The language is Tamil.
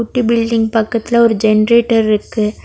குட்டி பில்டிங் பக்கத்துல ஒரு ஜென்ரேட்டர் இருக்கு.